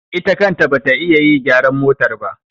Ita kanta ba ita ta yi gyaran motar ba.